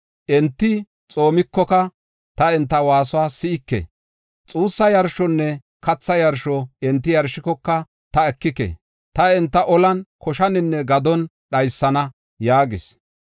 Enti xoomikoka, ta enta waasuwa si7ike. Xuussa yarshonne katha yarshuwa enti yarshikoka, ta ekike. Taani enta olan, koshaninne gadon dhaysana” yaagis.